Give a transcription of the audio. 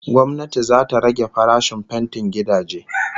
Gwamnati zata rage farashin fentin gidaje